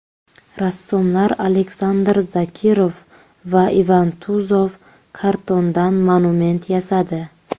Rassomlar Aleksandr Zakirov va Ivan Tuzov kartondan monument yasadi.